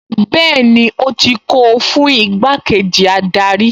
Bẹ́ẹ̀ni ó ti ń kó o fún igbákejì adarí